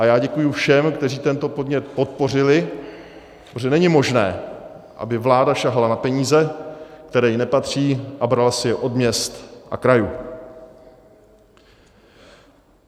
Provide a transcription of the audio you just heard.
A já děkuji všem, kteří tento podnět podpořili, protože není možné, aby vláda sahala na peníze, které jí nepatří, a brala si je od měst a krajů.